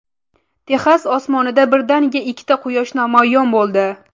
Texas osmonida birdaniga ikkita Quyosh namoyon bo‘ldi .